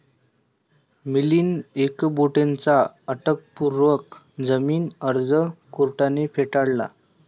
मिलिंद एकबोटेंचा अटकपूर्व जामीन अर्ज कोर्टाने फेटाळला